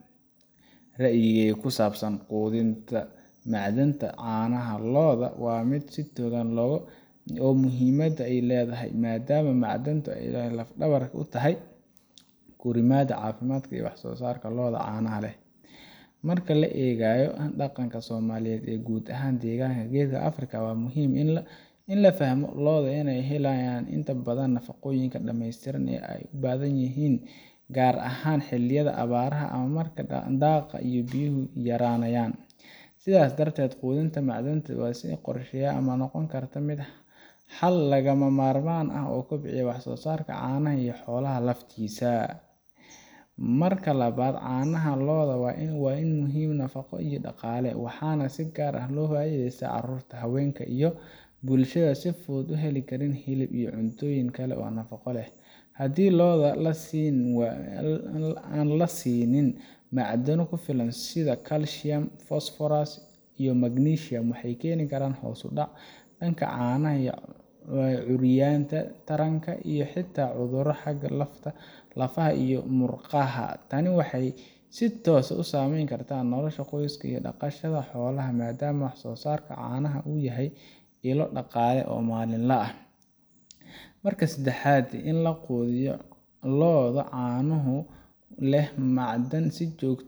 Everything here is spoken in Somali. Ra’ayigayga ku saabsan quudinta macdanta caanaha lo’da waa mid si togan u arka muhiimadda ay leedahay, maadaama macdanta ay laf-dhabar u tahay korriimada, caafimaadka, iyo wax-soo-saarka lo’da caanaha leh. Marka la eego dhaqanka Soomaaliyeed iyo guud ahaan deegaanka geeska Afrika, waxaa aad muhiim u ah in la fahmo in lo’da ay heli waayaan inta badan nafaqooyinka dhameystiran ee ay u baahan yihiin, gaar ahaan xilliyada abaaraha ama marka daaqa iyo biyuhu yaraanayaan. Sidaas darteed, quudinta macdanaha si la qorsheeyay ayaa noqon karta xal lagama maarmaan ah oo kobcinaya wax-soo-saarka caanaha iyo xoolaha laftiisa. Marka labaad, caanaha lo’da waa ilo muhiim u ah nafaqo iyo dhaqaale, waxaana si gaar ah uga faa’iideysta carruurta, haweenka, iyo bulshada aan si fudud u heli karin hilib ama cuntooyin kale oo nafaqo leh. Haddii lo’da aan la siin macdano ku filan sida calcium, phosphorus, iyo magnesium, waxay keeni kartaa hoos u dhac dhanka caanaha, curyaaminta taranka, iyo xitaa cudurro xagga lafaha iyo murqaha ah. Tani waxay si toos ah u saameyn kartaa nolosha qoyska dhaqashada xoolaha, maadaama wax-soo-saarka caanaha uu yahay ilo dhaqaale maalinle ah. Marka saddexaad, in la quudiyo lo’da caano leh macdan si joogto ah